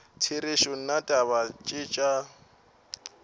therešo nna taba tše tša